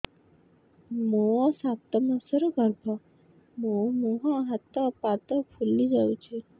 ମୋ ସାତ ମାସର ଗର୍ଭ ମୋ ମୁହଁ ହାତ ପାଦ ଫୁଲି ଯାଉଛି